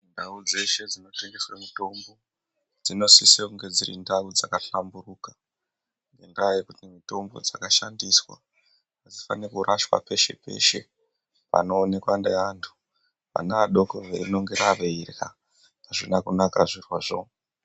Ndau dzeshe dzinotengeswe mitombo, dzinosise kunge dziri ndau dzakahlamburuka, Ngendaa yekuti mitombo dzakashandiswa hadzifaniri kurashwa peshe-peshe panoonekwa neantu, vana adoko veinongera veirya. Hazvina kunaka zvirozvo.